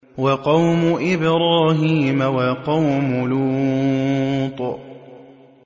وَقَوْمُ إِبْرَاهِيمَ وَقَوْمُ لُوطٍ